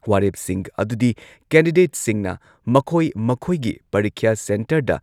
ꯋꯥꯔꯦꯞꯁꯤꯡ ꯑꯗꯨꯗꯤ ꯀꯦꯟꯗꯤꯗꯦꯠꯁꯤꯡꯅ ꯃꯈꯣꯏ ꯃꯈꯣꯏꯒꯤ ꯄꯔꯤꯈ꯭ꯌꯥ ꯁꯦꯟꯇꯔꯗ